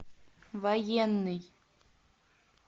военный